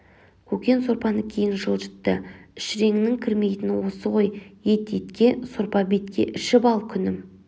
көкен сорпаны кейін жылжытты іш реңің кірмейтіні осы ғой ет етке сорпа бетке ішіп ал күнім